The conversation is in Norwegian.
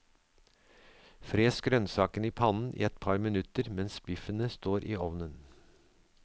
Fres grønnsakene i pannen i et par minutter mens biffene står i ovnen.